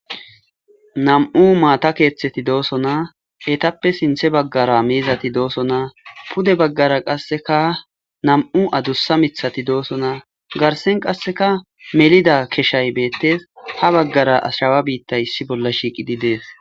nam'u maata keeththeti dooso naa etappe sinthe baggara miizati dooso naa pude baggara qasseka nam7u adussa mithati doosonaa garsen qasseka melida keshay beettes ha baggara ashrawa biitta issi bolla shiiqidi dees